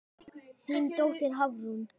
Þín dóttir, Hafrún.